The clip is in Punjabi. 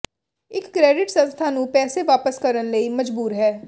ਇੱਕ ਕ੍ਰੈਡਿਟ ਸੰਸਥਾ ਨੂੰ ਪੈਸੇ ਵਾਪਸ ਕਰਨ ਲਈ ਮਜਬੂਰ ਹੈ